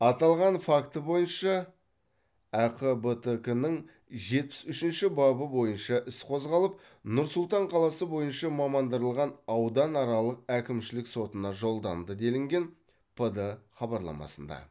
аталған факті бойынша әқбтк нің жетпіс үшінші бабы бойынша іс қозғалып нұр сұлтан қаласы бойынша мамандырылған ауданаралық әкімшілік сотына жолданды делінген пд хабарламасында